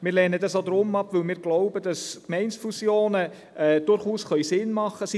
Wir lehnen dies auch deswegen ab, weil wir glauben, dass Gemeindefusionen durchaus Sinn machen können.